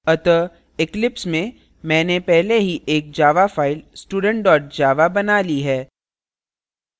अतः eclipse में मैंने पहले ही एक java file student java बना ली है